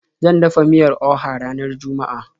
Zan dafa miyar Oha ranar juma'a.